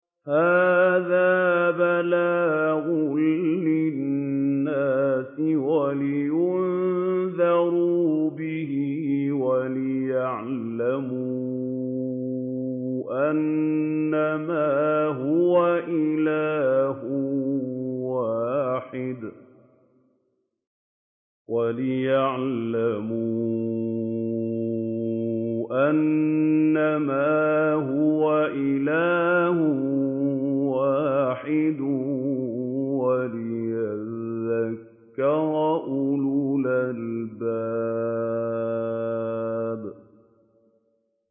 هَٰذَا بَلَاغٌ لِّلنَّاسِ وَلِيُنذَرُوا بِهِ وَلِيَعْلَمُوا أَنَّمَا هُوَ إِلَٰهٌ وَاحِدٌ وَلِيَذَّكَّرَ أُولُو الْأَلْبَابِ